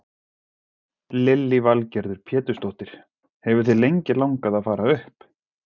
Lillý Valgerður Pétursdóttir: Hefur þig lengi langað að fara upp?